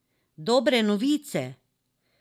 Dobre novice!